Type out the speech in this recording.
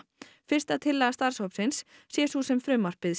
fyrsta tillaga starfshópsins sé sú sem frumvarpið